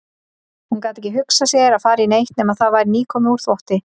Hún gat ekki hugsað sér að fara í neitt nema það væri nýkomið úr þvotti.